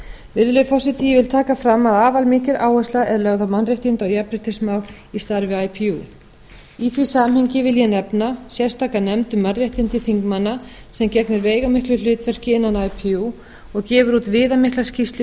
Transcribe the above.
virðulegi forseti ég vil taka fram að afar mikil áhersla er lögð á mannréttindi og jafnréttismál í starfi ipu í því samhengi vil ég nefna sérstaka nefnd um mannréttindi þingmanna sem gegnir veigamiklu hlutverki innan ipu og gefur út viðamikla skýrslu